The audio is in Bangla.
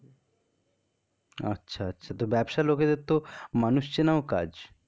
আচ্ছা আচ্ছা তো ব্যাবসা লোকের দের তো মানুষ চেনাও কাজ.